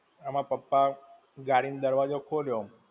મારા પપ્પા, ગાડી નો દરવાજો ખોલ્યો.